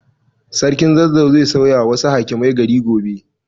Sarkin Zazzau zai sauyawa wasu hakimai gari gobe.